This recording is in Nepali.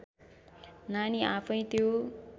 नानी आफैँ त्यो